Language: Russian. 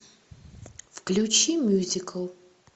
включи мюзикл